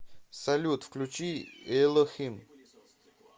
салют включи элохим